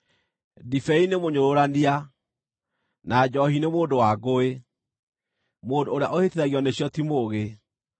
Ndibei nĩ mũnyũrũrania, na njoohi nĩ mũndũ wa ngũĩ; mũndũ ũrĩa ũhĩtithagio nĩcio ti mũũgĩ.